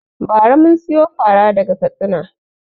Ba ra mun siyo fara daga Katsina